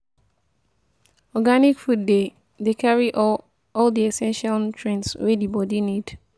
Organic food dey dey carry all all di essential nutrients wey di body need